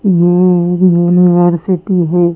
ये एक यूनिवर्सिटी है।